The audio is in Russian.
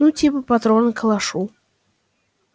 ну типа патроны к калашу